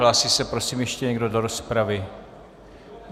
Hlásí se, prosím, ještě někdo do rozpravy?